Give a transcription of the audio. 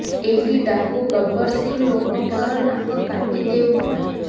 ଏହି ଡାକୁ ଗବ୍ବର ସିଂହ ଲୋକଙ୍କର ନାକ କାଟି ଦେଉଥିଲା